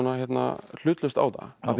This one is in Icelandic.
hlutlaust á þetta af því það